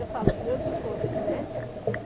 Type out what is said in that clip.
Eu falo com meu desgosto, né?